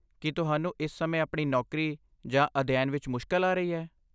ਕੀ ਤੁਹਾਨੂੰ ਇਸ ਸਮੇਂ ਆਪਣੀ ਨੌਕਰੀ ਜਾਂ ਅਧਿਐਨ ਵਿੱਚ ਮੁਸ਼ਕਲ ਆ ਰਹੀ ਹੈ?